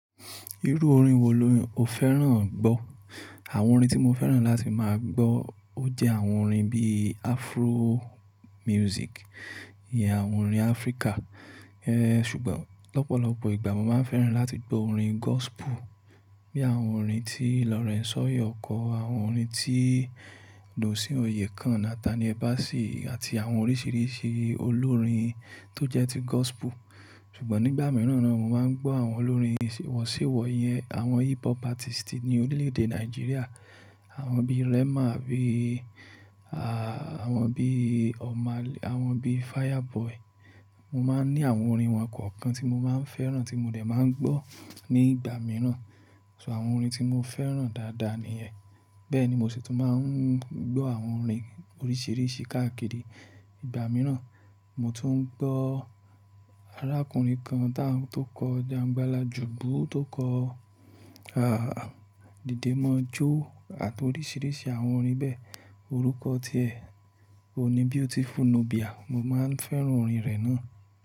Irú orin wo lo o fẹ́ràn gbọ́? Àwọn orin tí mo fẹ́ràn láti máa gbọ́ ó jẹ́ àwọn orin bíi Afro music, ìyẹn àwọn orin Áfríkà. Ẹ ṣùgbọ́n lọ́pọ̀lọpọ̀ ìgbà mo máa ń fẹ́ràn láti gbọ́ orin gospel. Bí i àwọn orin tí Lawrence Oyor kọ, àwọn orin tí Dunsin Oyekan, Nathaniel Bassey àti àwọn oríṣìíríṣìí olórin tó jẹ́ ti gospel. Ṣùgbọ́n nígbà mìíràn naa mo máa ń gbọ́ àwọn olórin ìṣíwọ̀sí wọ yẹn. Àwọn hip hop artist ní orílẹ̀èdè Nàìjíríà. Àwọn bíi Rema bíí, àwọn bíi Omahlay, àwọn bíi Fireboy. Mo máa ń ní àwọn orin wọn kọ̀ọ̀kan tí mo máa ń fẹ́ràn tí mo dẹ̀ máa ń gbọ́ ní ìgbà mìíràn. So àwọn orin tí mo fẹ́ràn dáadáa nìyẹn. Bẹ́ẹ̀ ni mo sì tún máa ń gbọ́ àwọn orin oríṣìíríṣìí káàkiri ìgbà mìíràn. Mo tún ń gbọ́ arákùnrin kan tó kọ 'Jáńgbalajùbú' tó kọ 'Didémọojo' àti oríṣìíríṣìí àwọn orin bẹ́ẹ̀. Orúkọ tí ẹ, òun ní Beautiful Nubia. Mo máa ń fẹ́ràn orin rẹ̀ náà.